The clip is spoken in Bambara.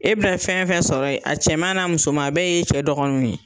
E bɛna fɛn fɛn sɔrɔ ye, a cɛman n'a musoman a bɛɛ y'e cɛ dɔgɔnunw ye.